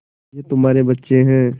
ये तुम्हारे बच्चे हैं